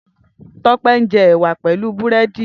Tope n jè èwà pèlú búrèdí